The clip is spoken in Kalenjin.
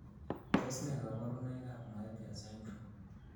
Tos nee koborunoikab Moebius syndrome?